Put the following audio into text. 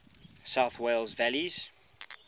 south wales valleys